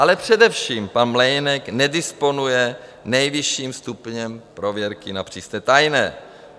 Ale především pan Mlejnek nedisponuje nejvyšším stupněm prověrky na přísně tajné.